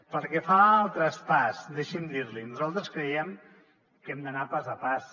pel que fa al traspàs deixi’m dir l’hi nosaltres creiem que hem d’anar pas a pas